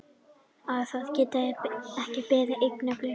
Að það geti ekki beðið augnablik.